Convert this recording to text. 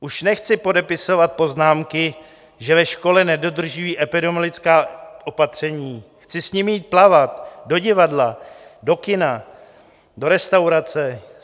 Už nechci podepisovat poznámky, že ve škole nedodržují epidemiologická opatření, chci s nimi jít plavat, do divadla, do kina, do restaurace.